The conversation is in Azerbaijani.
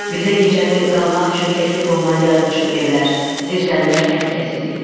Bizə gecəni qalmaq üçün təklif olunan yarımçıq evlər, zirzəmilər təhlükəsiz idi.